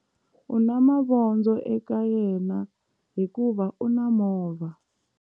U na mavondzo eka yena hikuva u na movha.